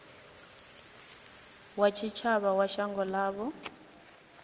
wa tshitshavha wa shango ḽavho